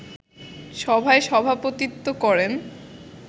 সভায় সভাপতিত্ব করেন